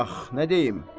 Ax, nə deyim?